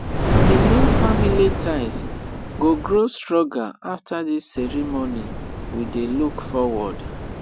the new family ties go grow stronger after this ceremony we dey look forward